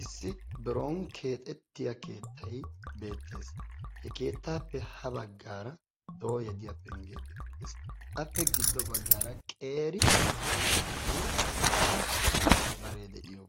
Issi biron keexxetiyaa keettay beettees. He keettappe ha baggaara dooyya diya pengge bettees. Appe giddo baggaara qeeri guutta bare de'iyo